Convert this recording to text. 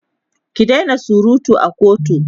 ki Daina surutu a kotu!